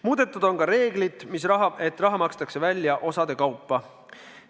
Muudetud on ka reeglit, et raha makstakse välja osade kaupa.